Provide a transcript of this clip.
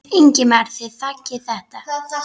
Ingimar: Þið þiggið þetta?